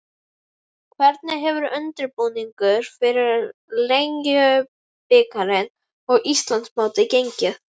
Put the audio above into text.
Hvernig hefur undirbúningur fyrir Lengjubikarinn og Íslandsmótið gengið?